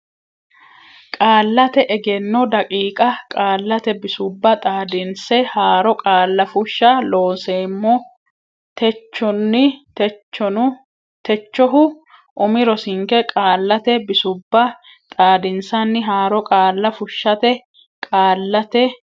Qaallate Egenno daqiiqa Qaallate Bisubba Xaadinse Haaro Qaalla Fushsha Looseemmo techohu umi rosinke qaallate bisubba xaadinsanni haaro qaalla fushshate Qaallate.